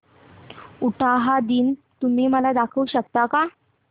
उटाहा दिन तुम्ही मला दाखवू शकता का